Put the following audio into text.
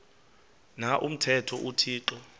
na umthetho uthixo